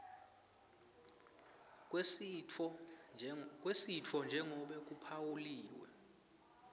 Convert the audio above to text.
kwesitfo njengobe kuphawuliwe